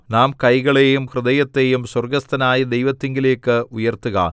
നാം കൈകളെയും ഹൃദയത്തെയും സ്വർഗ്ഗസ്ഥനായ ദൈവത്തിങ്കലേക്ക് ഉയർത്തുക